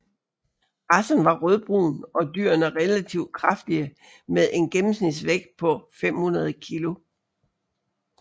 Racen var rødbrun og dyrene relativt kraftige med en gennemsnitsvægt på 500 kg